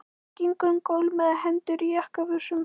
Hann gengur um gólf með hendur í jakkavösunum.